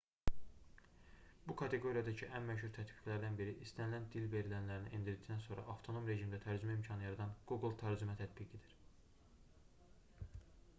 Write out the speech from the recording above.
bu kateqoriyadakı ən məşhur tətbiqlərdən biri istənilən dil verilənlərini endirdikdən sonra avtonom rejimdə tərcümə imkanı yaradan google tərcümə tətbiqidir